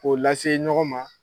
K'o lase ɲɔgɔn ma